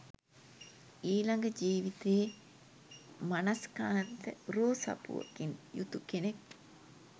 ඊළඟ ජීවිතයේ මනස්කාන්ත රූ සපුවකින් යුතු කෙනෙක්